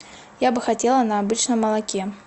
я бы хотела на обычном молоке